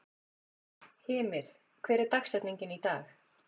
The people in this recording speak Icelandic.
Hymir, hver er dagsetningin í dag?